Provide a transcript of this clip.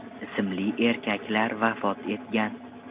ismli erkaklar vafot etgan .